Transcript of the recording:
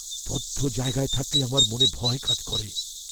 বদ্ধ জায়গায় থাকলে আমার মনে ভয় কাজ করে।